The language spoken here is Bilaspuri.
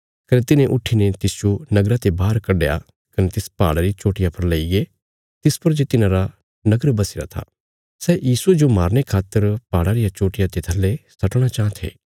कने तिन्हे उट्ठीने तिसजो नगरा ते बाहर कढया कने तिस पहाड़ा री चोट्टिया पर लेईगे तिस पर जे तिन्हारा नगर बसीरा था सै यीशुये जो मारने खातर पहाड़ा रिया चोट्टिया ते थल्ले सट्टणा चांह थे